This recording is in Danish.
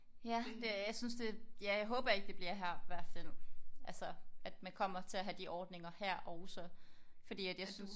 Ja det jeg synes det ja jeg håber ikke at det bliver her i hvert fald. Altså at man kommer til at have de ordninger her også. Fordi at jeg synes